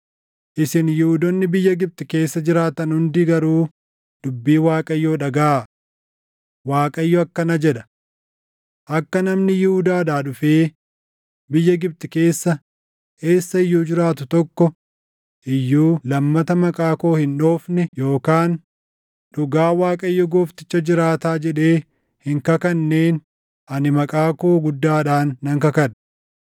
Isin Yihuudoonni biyya Gibxi keessa jiraattan hundi garuu dubbii Waaqayyoo dhagaʼaa: Waaqayyo akkana jedha; ‘Akka namni Yihuudaadhaa dhufee biyya Gibxi keessa eessa iyyuu jiraatu tokko iyyuu lammata maqaa koo hin dhoofne yookaan, “Dhugaa Waaqayyo Goofticha jiraataa” jedhee hin kakanneen ani maqaa koo guddaadhaan nan kakadha.